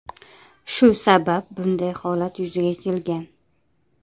Shu sabab bunday holat yuzaga kelgan.